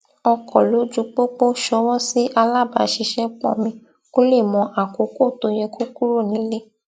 ọkọ lójúpópó ṣọwọ sí alábàáṣiṣẹpọ mi kó lè mọ àkókò tó yẹ kó kúrò nílé